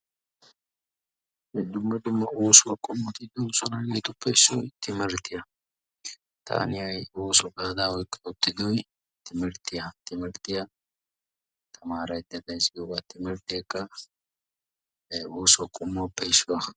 wolayttan dumma dumma oosuwa qommoti de'oososna. hegeetuppe issoy timirttiya, taani ha'i ooso gaada oyqidoy timmirttiya. timirttiya tamaaraydda days. timirteeka ooso qommotuppe issuwa.